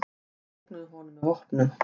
Þeir ógnuðu honum með vopnum.